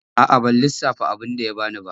A'a ban lissafta abinda ya bani ba.